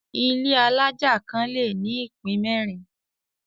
Ilé alájà kan le ní ìpín mẹ́rin.